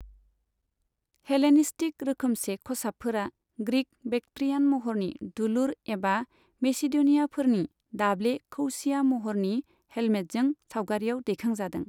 Hellenistic रोखोमसे खसाबफोरा Greek' Bactrian महरनि दुलुर एबा मेसिड'नियानफोरनि दाब्ले कौसिया महरनि हेल्मेटजों सावगारियाव दैखांजादों।